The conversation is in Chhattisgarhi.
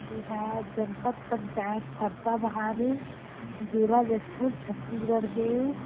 एहा जनपत पंचायत फरसा बहार जिला जशपुर छत्तीसगढ़ के--